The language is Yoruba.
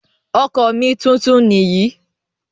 Ọkọ̀ mi tuntun nìyí.